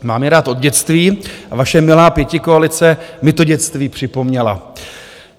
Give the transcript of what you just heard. Mám je rád od dětství a vaše milá pětikoalice mi to dětství připomněla.